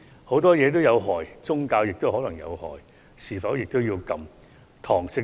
很多東西都有禍害，宗教也可能造成禍害，是否也要禁絕？